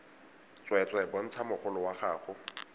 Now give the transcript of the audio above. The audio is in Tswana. tsweetswee bontsha mogolo wa gago